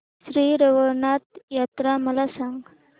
श्री रवळनाथ यात्रा मला सांग